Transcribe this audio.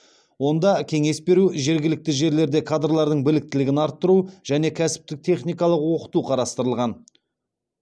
онда кеңес беру жергілікті жерлерде кадрлардың біліктілігін арттыру және кәсіптік техникалық оқыту қарастырылған